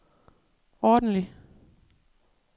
ordentlig